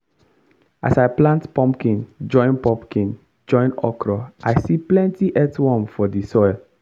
as i plant pumpkin join pumpkin join okra i see plenty earthworm for the soil.